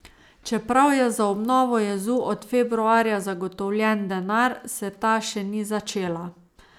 Čeprav je za obnovo jezu od februarja zagotovljen denar, se ta še ni začela.